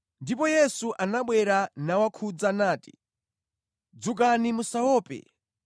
Ndipo Yesu anabwera nawakhudza nati, “Dzukani, musaope.”